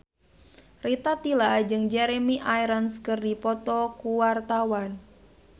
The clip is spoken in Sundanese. Rita Tila jeung Jeremy Irons keur dipoto ku wartawan